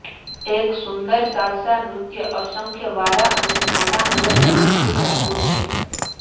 એક સુંદર સાલસા નૃત્ય અસંખ્ય વારા અને નાના હલનચલનથી ભરપૂર છે